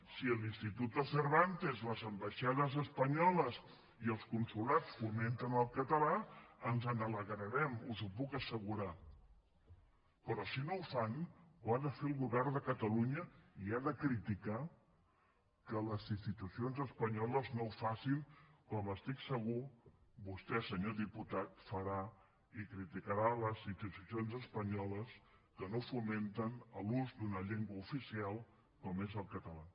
si l’instituto cervantes les ambaixades espanyoles i els consolats fomenten el català ens n’alegrarem us ho puc assegurar però si no ho fan ho ha de fer el govern de catalunya i ha de criticar que les institucions espanyoles no ho facin com estic segur vostè senyor diputat farà i criticarà les institucions espanyoles que no fomenten l’ús d’una llengua oficial com és el català